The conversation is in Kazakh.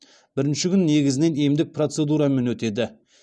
бірінші күн негізінен емдік процедурамен өтеді